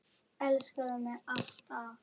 Elskaðu mig alt af.